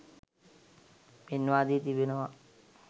පෙන්වා දී තිබෙනවා.